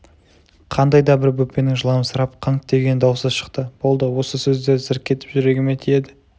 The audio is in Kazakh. қандай да бір бөпенің жыламсырап қыңқ деген даусы шықты болды осы сөздер зірк етіп жүрегіме тиеді